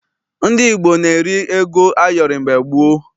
Ndị Igbo na-eri ego ayọrị mgbe gboo.